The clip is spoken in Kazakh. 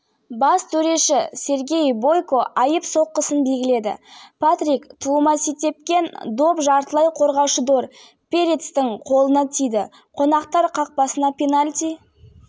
екінші тайм басталған тұстаджуниор кабананга придраг райкович қақпасында үшінші рет допты тулатты астана командасы шабуылшысының айып алаңы